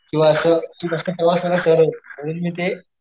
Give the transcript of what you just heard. किंवा असत्यामूळ मी ते,